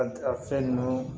A a fɛn ninnu